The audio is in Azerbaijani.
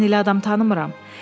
Mən elə adam tanımıram.